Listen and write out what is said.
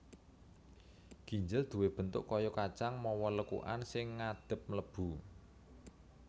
Ginjel duwé bentuk kaya kacang mawa lekukan sing ngadhep mlebu